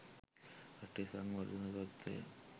රටේ සංවර්ධන තත්ත්වය